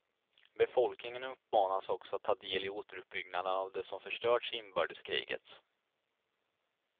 Befolkningen uppmanas också att ta del i återuppbyggnaden av det som förstörts i inbördeskriget.